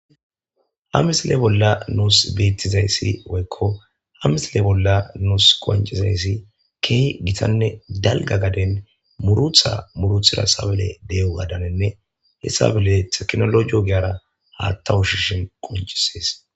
Ha misile bolla nus beetizayssi woykko ha misile bolla nus qonccizayssi keehi gitanne dalgga gaden muruta muurutida say de'iyogadaninne tabile tekinoloje ogiyara haaththa ushishin qonccisees.